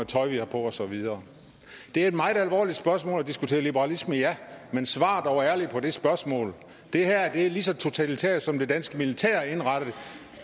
tøj vi har på og så videre det er et meget alvorligt spørgsmål at diskutere liberalisme ja men svar dog ærligt på det spørgsmål det her er lige så totalitært som det danske militær er indrettet